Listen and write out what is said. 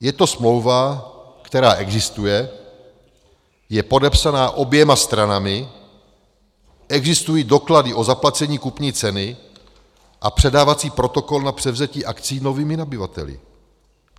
Je to smlouva, která existuje, je podepsaná oběma stranami, existují doklady o zaplacení kupní ceny a předávací protokol na převzetí akcií novými nabyvateli.